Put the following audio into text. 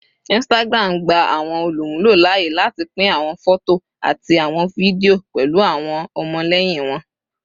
Instagram gba awọn olumulo laaye lati pin awọn fọto ati awọn fidio pẹlu awọn ọmọlẹyin wọn